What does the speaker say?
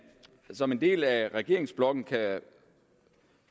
som en del af regeringsblokken